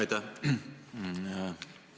Aitäh!